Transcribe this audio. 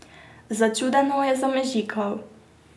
Začudeno je zamežikal.